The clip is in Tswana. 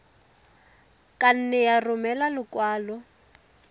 ka nne ya romela lekwalo